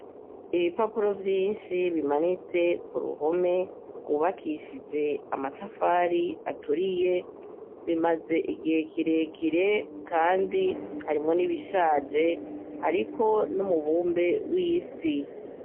Ibipapuro vyinshi bimanitse ku ruhome rwubakishije amatafari aturiye, bimaze igihe kirekire kandi harimwo n'ibishaje, hariko n'umubumbe w'isi.